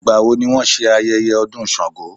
Ìgbà wo ni wón ṣe ayẹyẹ ọdún Sàngó?